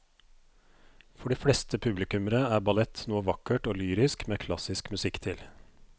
For de fleste publikummere er ballett noe vakkert og lyrisk med klassisk musikk til.